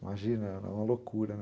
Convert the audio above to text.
Imagina, era uma loucura.